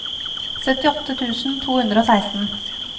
syttiåtte tusen to hundre og seksten